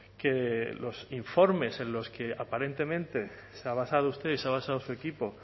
que los informes en los que aparentemente se ha basado usted y se ha basado su equipo